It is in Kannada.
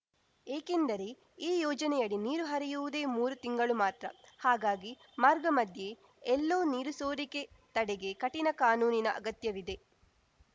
ಏಕೆಂದರೆ ಈ ಯೋಜನೆಯಡಿ ನೀರು ಹರಿಯುವುದೇ ಮೂರು ತಿಂಗಳು ಮಾತ್ರ ಹಾಗಾಗಿ ಮಾರ್ಗಮಧ್ಯೆ ಎಲ್ಲೂ ನೀರು ಸೋರಿಕೆ ತಡೆಗೆ ಕಠಿಣ ಕಾನೂನಿನ ಅಗತ್ಯವಿದೆ